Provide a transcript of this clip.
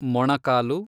ಮೊಣಕಾಲು